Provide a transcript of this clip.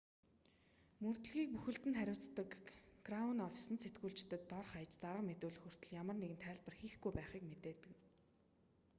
мөрдлөгийг бүхэлд нь хариуцдаг краун оффис нь сэтгүүлчдэд дор хаяж зарга мэдүүлэх хүртэл ямар нэгэн тайлбар хийхгүй байхыг мэдэгдэв